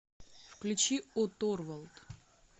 включи о торвалд